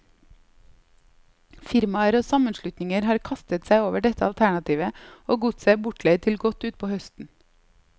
Firmaer og sammenslutninger har kastet seg over dette alternativet, og godset er bortleid til godt utpå høsten.